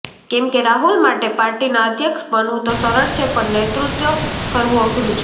કેમ કે રાહુલ માટે પાર્ટીના અધ્યક્ષ બનવું તો સરળ છે પણ નેતૃત્વ કરવું અઘરું છે